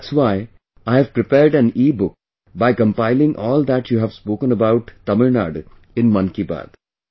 That's why I have prepared an EBook by compiling all that you have spoken about Tamil Nadu in 'Mann Ki Baat'